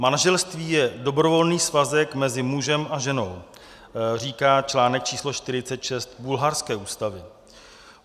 "Manželství je dobrovolný svazek mezi mužem a ženou," říká článek číslo 46 bulharské ústavy.